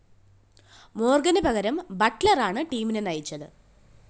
മോര്‍ഗന് പകരം ബട്ട്‌ലറാണ് ടീമിനെ നയിച്ചത്